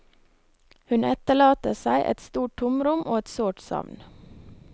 Hun etterlater seg et stort tomrom og et sårt savn.